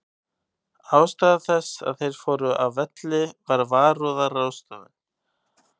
Ástæða þess að þeir fóru af velli var varúðarráðstöfun.